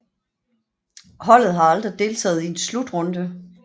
Holdet har aldrig deltaget i en slutrunde